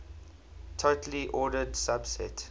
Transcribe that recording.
totally ordered subset